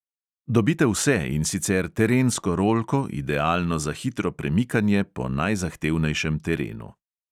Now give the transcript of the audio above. Dobite vse, in sicer terensko rolko, idealno za hitro premikanje po najzahtevnejšem terenu.